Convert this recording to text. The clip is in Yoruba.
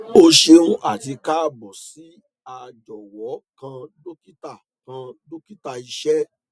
o ṣeun ati kaabo si a jọwọ kan dokita kan dokita iṣẹ